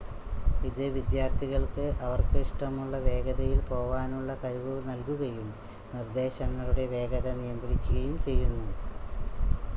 ഇത് വിദ്യാർത്ഥികൾക്ക് അവർക്ക് ഇഷ്ടമുള്ള വേഗതയിൽ പോവാനുള്ള കഴിവ് നൽകുകയും നിർദ്ദേശങ്ങളുടെ വേഗത നിയന്ത്രിക്കുയും ചെയ്യുന്നു